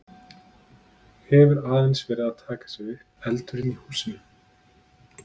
Hefur aðeins verið að taka sig upp eldurinn í húsinu?